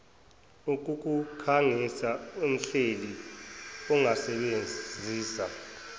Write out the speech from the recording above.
ukukukhangisa umhleli angasebenzisa